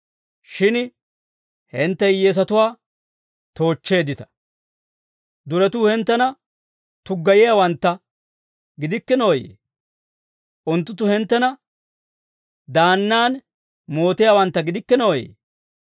Shin hintte hiyyeesatuwaa toochcheeddita. Duretuu hinttena tuggayiyaawantta gidikkinooyee? Unttunttu hinttena daannan mootiyaawantta gidikkinooyee?